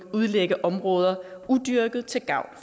udlægge områder udyrkede til gavn